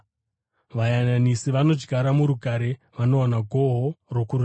Vayananisi vanodyara murugare vanowana gohwo rokururama.